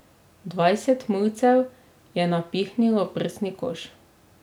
Dvajset mulcev je napihnilo prsni koš.